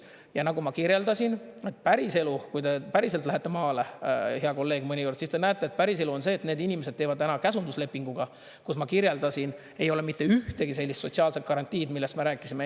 Ja nagu ma kirjeldasin, päriselu, kui te päriselt lähete maale, hea kolleeg, mõnikord, siis te näete, et päriselu on see, et need inimesed teevad täna käsunduslepinguga, kus ma kirjeldasin, ei ole mitte ühtegi sellist sotsiaalset garantiid, millest me rääkisime.